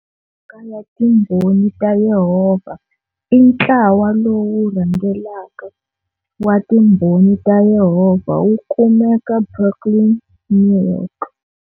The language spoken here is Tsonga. Fumaka ya Timbhoni ta Yehovha i ntlawa lowu rhangelaka wa Timbhoni ta Yehovha wu kumeka Brooklyn, New York.